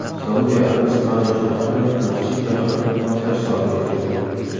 Saudiya Arabistoni sharqida masjid yaqinida portlash sodir etildi.